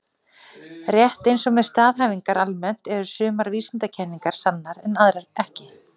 Rétt eins og með staðhæfingar almennt eru sumar vísindakenningar sannar en aðrar ekki.